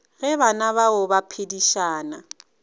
ge bana bao ba phedišana